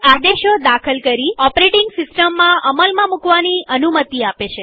આદેશો દાખલ કરીઓપરેટીંગ સિસ્ટમમાં અમલમાં મુકવાની અનુમતિ તે આપે છે